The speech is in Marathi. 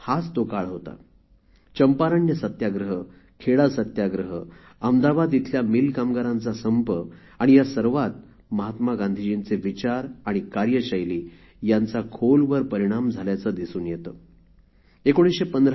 हाच तो काळ होता चंपारण्य सत्याग्रह खेडा सत्याग्रह अहमदाबाद इथल्या मिल कामगारांचा संप आणि या सर्वात महात्मा गांधीजींचे विचार तसेच कार्यशैली यांचा खोलवर परिणाम झाल्याचे दिसून येते